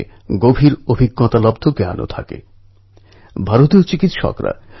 নূতন অধ্যায় শুরু করছেন সব নব যুবকদের জন্য আমার শুভকামনা রইল